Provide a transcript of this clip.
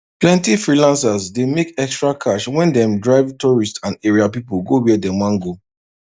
plenty freelancers dey make extra cash when dem drive tourists and area people go where dem wan go